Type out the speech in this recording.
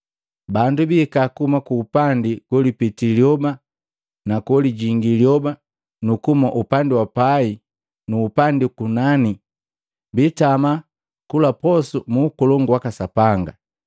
Bandu bihika kuhuma kuupandi golipita lyoba na kolijingi lyoba, nukuhuma upandi wa pai nu upandi ukunani, biitama kula posu mu Ukolongu waka Sapanga.